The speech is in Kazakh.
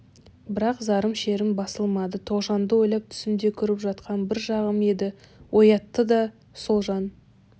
бірақ зарым шерім басылмады тоғжанды ойлап түсімде көріп жатқан бір шағым еді оятты да сол жан